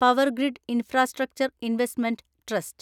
power grid Infrastructure Investment trust